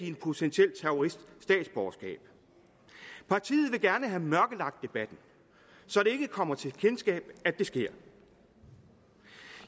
en potentiel terrorist statsborgerskab partiet vil gerne have mørkelagt debatten så det ikke kommer til kendskab at det sker